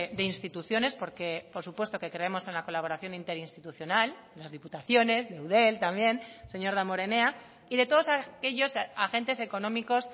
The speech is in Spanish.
de instituciones porque por supuesto que creemos en la colaboración interinstitucional las diputaciones de eudel también señor damborenea y de todos aquellos agentes económicos